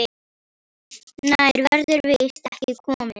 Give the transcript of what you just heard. Nær verður víst ekki komist.